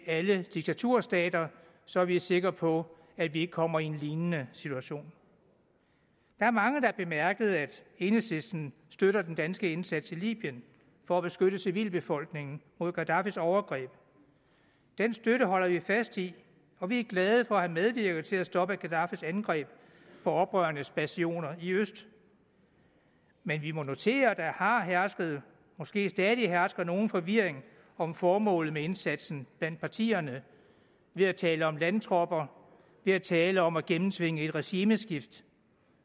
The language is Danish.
alle diktaturstater så vi er sikre på at vi ikke kommer i en lignende situation der er mange der har bemærket at enhedslisten støtter den danske indsats i libyen for at beskytte civilbefolkningen mod gaddafis overgreb den støtte holder vi fast i og vi er glade for at have medvirket til at stoppe gaddafis angreb på oprørernes bastioner i øst men vi må notere at der har hersket og måske stadig hersker nogen forvirring om formålet med indsatsen blandt partierne ved at tale om landtropper ved at tale om at gennemtvinge et regimeskift